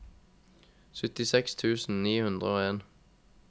syttiseks tusen ni hundre og en